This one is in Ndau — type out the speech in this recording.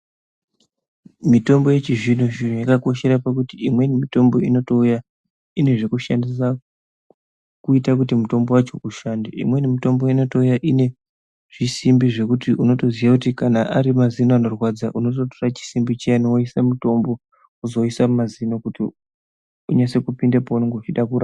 Mitombo yechizvino zvino yakakoshera pakuti imweni mitombo inotouya ine zvekushandisa kuita kuti mutombo wacho ushande. Imweni mitombo inotouya ine zvisimbi zvekuti unotoziya kuti kana ari mazino anorwadza unototora chisimbi chiyani woisa mutombo wozoisa mumazino kuti unyatse kupinda peunenge uchida kura